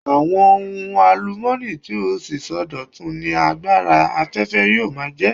Àwọn ohun àlùmọ́ọ́nì tí ó ṣeé sọdọ̀tun ni agbára afẹ́fẹ́ yóò máa jẹ́.